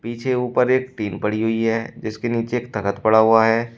पीछे ऊपर एक टीन पड़ी हुई है जिसके नीचे एक तख्त पड़ा हुआ है।